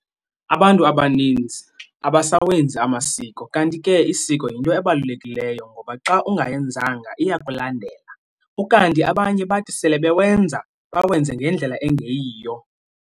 Abantu abaninzi abasawenzi amasiko kanti ke isiko yinto ebalulekileyo ngoba xa ungayenzanga iyakulandela, ukanti abanye bathi sele bewenza bawenze ngendlela engeyiyo